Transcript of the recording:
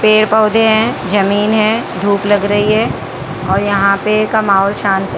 पेड़ पौधे हैं जमीन है धूप लग रही है और यहां पे कमाओ शांत रहो--